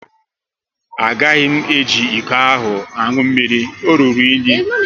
A gaghị m eji ịkọ ahụ aṅụ mmiri, o rụrụ unyi